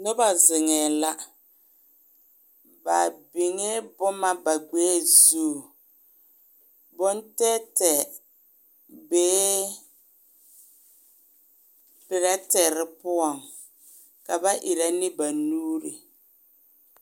Noba zeŋɛɛ la ba biŋee boma ba ɡbɛɛ zu bontɛɛtɛɛ bee perɛtere poɔŋ ka ba erɛ ne ba nuuri .